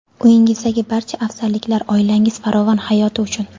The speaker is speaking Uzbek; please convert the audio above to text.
Uyingizdagi barcha afzalliklar oilangiz farovon hayoti uchun!.